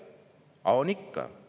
Aga on ikka.